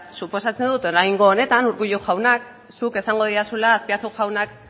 suposatzen dut oraingo honetan urkullu jauna zuk esango didazula azpiazu jaunak